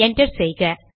enter செய்க